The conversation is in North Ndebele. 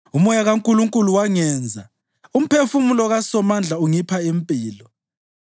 UMoya kaNkulunkulu wangenza; umphefumulo kaSomandla ungipha impilo.